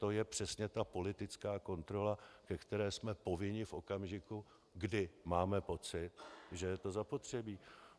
To je přesně ta politická kontrola, ke které jsme povinni v okamžiku, kdy máme pocit, že je to zapotřebí.